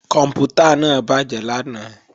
Kòǹpútà náà bàjé lánàá